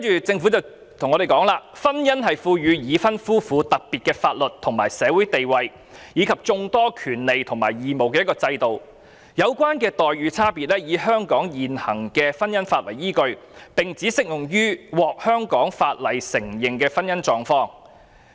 政府表示，婚姻是賦予已婚夫婦特別的法律及社會地位，以及眾多權利和義務的制度，有關差別待遇以香港現行婚姻法為依據，並只適用於獲香港法律承認的婚姻狀況。